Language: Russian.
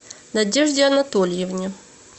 надежде анатольевне